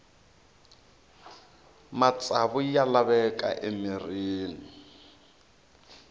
matsavu ya laveka emirhini